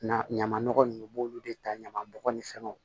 Na ɲaman nɔgɔ ninnu u b'olu de ta ɲaman bɔgɔ ni fɛnw